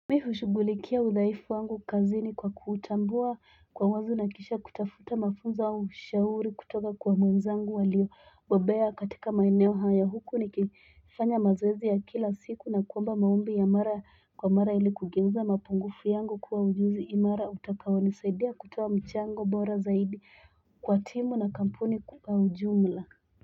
Mi hushugulikia udhaifu wangu kazini kwa kuutambua kwa wazi nakisha kutafuta mafunzo au ushauri kutoka kwa mwenzangu alio. Bobea katika maeneo hayo huku niki fanya mazoezi ya kila siku na kuomba maombi ya mara kwa mara ilikugeuza mapungufu yangu kuwa ujuzi imara utakao nisaidia kutoa mchango bora zaidi kwa timu na kampuni kwa ujumla.